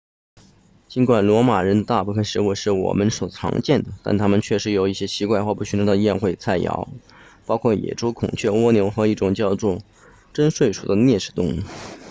尽管罗马人的大部分食物是我们所常见的但他们确实有一些奇怪或不寻常的宴会菜肴包括野猪孔雀蜗牛和一种叫做榛睡鼠的啮齿动物